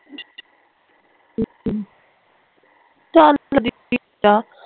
ਚੱਲ ਆ